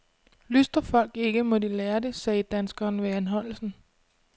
Lystrer folk ikke, må de lære det, sagde danskeren ved anholdelsen.